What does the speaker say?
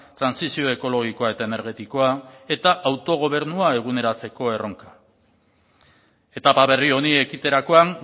trantsizio ekologikoa eta energetikoa eta autogobernua eguneratzeko erronka etapa berri honi ekiterakoan